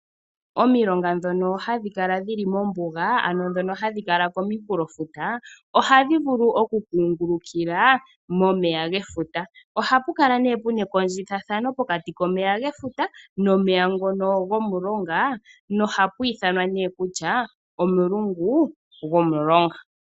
Omilonga ndhono hadhi kala dhi li mombuga, ano ndhono hadhi kala dhi li kominkulofuta ohadhi vulu okukungulukila momeya gefuta. Ohapu kala nduno pu na ekondjithathano pokati komeya gefuta nomeya ngono gomulonga nohapu ithanwa kutya omulungu gomulonga.